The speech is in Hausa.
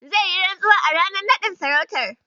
Zai yi rantsuwa a ranar naɗin sarautar.